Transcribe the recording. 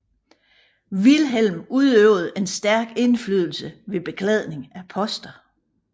Wilhelm udøvede en stærk indflydelse ved beklædningen af poster